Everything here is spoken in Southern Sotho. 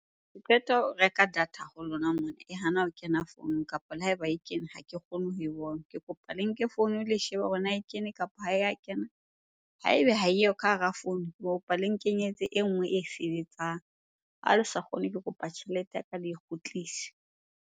Ke qeta ho reka data ho lona mona e hana ho kena founung kapa le ha eba e kene, ha ke kgone ho e bona. Ke kopa le nke founu le shebe hore na e kene kapa ha e ya kena? Haebe ha eyo ka hara founu, ke kopa le nkenyetse e nngwe e sebetsang. Ha le sa kgone, ke kopa tjhelete ya ka le e kgutlise.